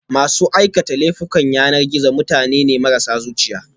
masu aikata laifukan yanar gizo mutane ne marasa zuciya